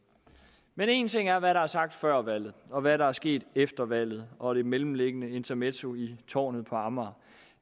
men en ting er hvad der er sagt før valget og hvad der er sket efter valget og det mellemliggende intermezzo i tårnet på amager